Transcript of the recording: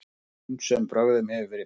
Ýmsum brögðum hefur verið beitt.